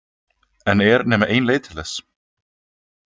En er nema ein leið til þess?